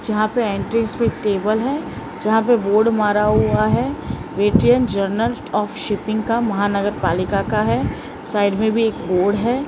जहां पे एंट्रीस पे टेबल है जहां पे बोर्ड मारा हुआ है वेटीएम जर्नल आफ शिपिंग का महानगरपालिका का है साइड में भी एक बोर्ड है।